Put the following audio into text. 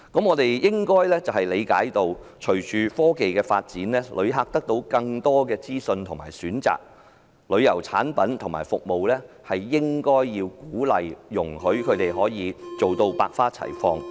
我們應該理解，隨着科技發展，旅客得到更多資訊和選擇，旅遊產品和服務便應該受到鼓勵，容許它們百花齊放。